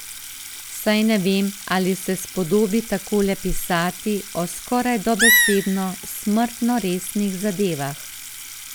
Saj ne vem, ali se spodobi takole pisati o, skoraj dobesedno, smrtno resnih zadevah.